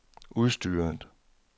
udstyret